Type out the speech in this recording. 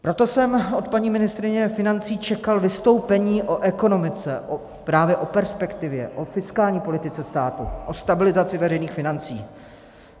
Proto jsem od paní ministryně financí čekal vystoupení o ekonomice, právě o perspektivě, o fiskální politice státu, o stabilizaci veřejných financí.